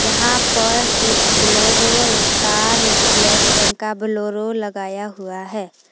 यह पर एक बोलोरो एक कार एक ब्लैक रंग का बोलोरो लगाया हुआ है।